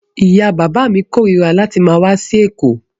Ìyá-bàbá mi korira láti máa wá sí Èkó.